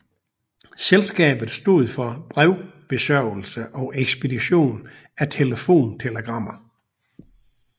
Selskabet stod for brevbesørgelse og ekspedition af telefontelegrammer